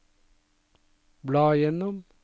bla gjennom